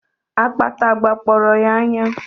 Akpata gbakpọrọ ya anya